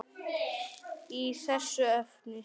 í þessu efni.